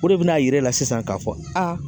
O de bina yirala sisan k'a fɔ